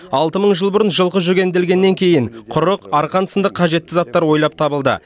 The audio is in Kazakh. алты мың жыл бұрын жылқы жүгенделгеннен кейін құрық арқан сынды қажетті заттар ойлап табылды